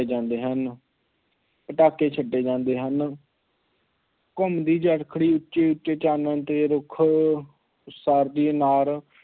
ਜਾਂਦੇ ਹਨ, ਪਟਾਕੇ ਛੱਡੇ ਜਾਂਦੇ ਹਨ ਘੁੰਮਦੀ ਚਰੱਖੜੀ ਉੱਚੇ ਉੱਚੇ ਚਾਨਣ 'ਤੇ ਰੁੱਖ ਉਸਾਰਦੀ ਅਨਾਰ